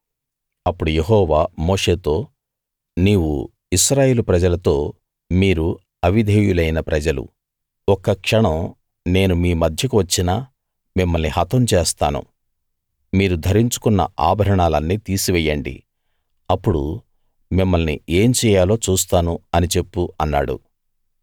అప్పుడు యెహోవా మోషేతో నీవు ఇశ్రాయేలు ప్రజలతో మీరు అవిధేయులైన ప్రజలు ఒక్క క్షణం నేను మీ మధ్యకు వచ్చినా మిమ్మల్ని హతం చేస్తాను మీరు ధరించుకొన్న ఆభరణాలన్నీ తీసివెయ్యండి అప్పుడు మిమ్మల్ని ఏం చెయ్యాలో చూస్తాను అని చెప్పు అన్నాడు